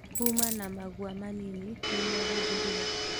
Kuma na magua manini nĩmo hũthĩrire